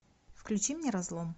включи мне разлом